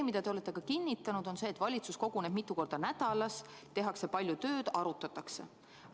Te olete kinnitanud, et valitsus koguneb mitu korda nädalas, tehakse palju tööd, arutatakse.